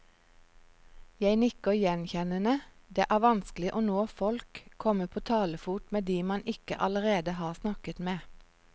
Jeg nikker gjenkjennende, det er vanskelig å nå folk, komme på talefot med de man ikke allerede har snakket med.